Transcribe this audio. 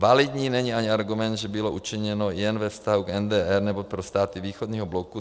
Validní není ani argument, že bylo učiněno jen ve vztahu k NDR nebo pro státy východního bloku.